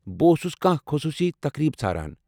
بہٕ اوسُس کانٛہہ خٔصوٗصی تقریٖب ژھاران ۔